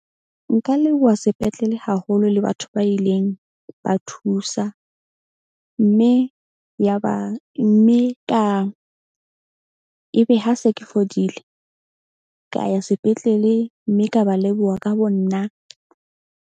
Nka leboha sepetlele haholo le batho ba ileng ba thusa. Mme yaba mme ka ebe ha se ke fodile ka ya sepetlele, mme ka ba leboha ka bo nna.